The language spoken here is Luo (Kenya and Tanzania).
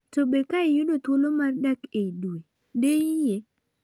To be, ka iyudo thuolo mar dak ei dwee de iyiee?